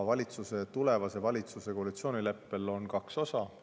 Tulevase valitsuse koalitsioonileppel on kaks osa.